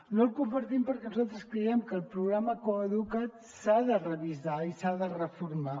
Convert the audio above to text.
no el compartim perquè nosaltres creiem que el programa coeduca’t s’ha de revisar i s’ha de reformar